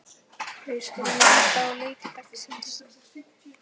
Við skulum líta á leiki dagsins.